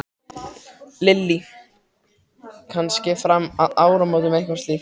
Lillý: Kannski fram að áramótum eitthvað slíkt?